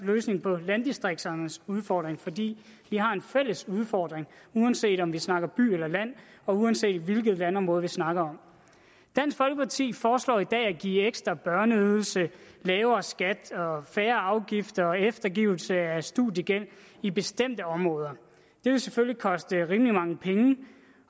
løsning på landdistrikternes udfordring fordi vi har en fælles udfordring uanset om vi snakker by eller land og uanset hvilket landområde vi snakker om dansk folkeparti foreslår i dag ekstra børneydelse lavere skat færre afgifter og eftergivelse af studiegæld i bestemte områder det vil selvfølgelig koste rimelig mange penge